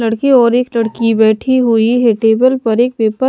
लड़के और एक लड़की बैठी हुई है टेबल पर एक पेपर --